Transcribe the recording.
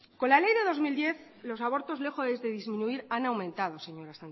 con la ley del dos mil diez los abortos lejos de disminuir han aumentado señora